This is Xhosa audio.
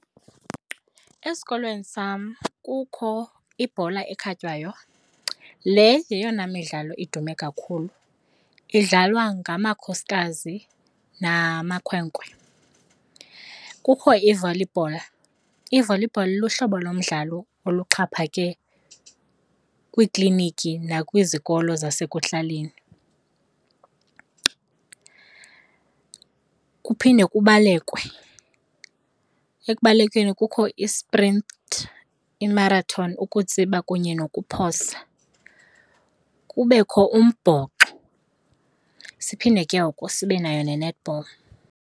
Esikolweni sam kukho ibhola ekhatywayo. Le yeyona midlalo idume kakhulu, idlalwa ngamakhosikazi namakhwenkwe. Kukho i-volleyball. I-volleyball luhlobo lomdlalo oluxhaphake kwiikliniki nakwizikolo zasekuhlaleni. Kuphinde kubalekwe. Ekubalekeni kukho i-sprint, imarathoni, ukutsiba kunye nokuphosa. Kubekho umbhoxo. Siphinde ke ngoku sibe nayo ne-netball.